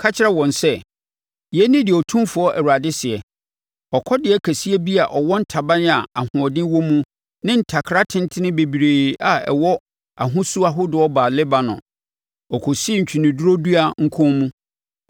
Ka kyerɛ wɔn sɛ, ‘Yei ne deɛ Otumfoɔ Awurade seɛ: Ɔkɔdeɛ kɛseɛ bi a ɔwɔ ntaban a ahoɔden wɔ mu ne ntakra atentene bebree a ɛwɔ ahosu ahodoɔ baa Lebanon. Ɔkɔsii ntweneduro dua nkɔn mu,